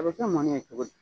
A bɛ kɛ mɔni ye cogo di ?